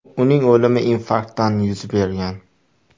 Uning o‘limi infarktdan yuz bergan.